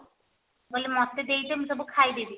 ମୁଁ କହିଲି ମତେ ଦେଇଯା ମୁଁ ସବୁ ଯାକ ଖାଇଦେବି